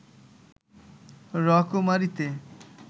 রকমারিতে